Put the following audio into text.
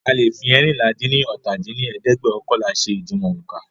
A leè fi eérinlá-dín-ní-ọ́ta dín ní ẹ̀ẹ́dẹ́gbẹ́ọ̀kànlá ṣe ìdiwọ̀n ońká